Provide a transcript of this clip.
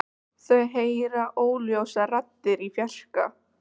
Þau heyra óljósar raddir í fjarska.